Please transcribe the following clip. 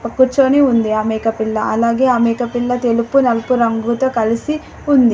కూర్చొని ఉంది ఆ మేకపిల్ల. అలాగే ఆ మేకపిల్ల తెలుపు నలుపు రంగుతో కలిసి ఉంది.